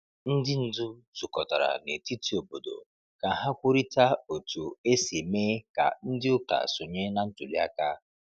Ndị ndu zukọtara na etiti obodo ka ha kwurịta otu esi mee ka ndị ụka sonye na ntuli aka.